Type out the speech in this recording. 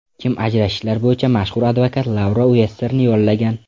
Kim ajrashishlar bo‘yicha mashhur advokat Laura Uesserni yollagan.